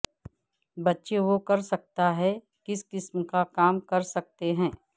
بچے وہ کر سکتا ہے کس قسم کا کام کر سکتے ہیں